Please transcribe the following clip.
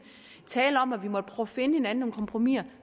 tale om at vi måtte at finde hinanden om kompromisser vi